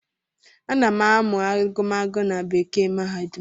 A na-amụ agụmagụ na bekee mahadum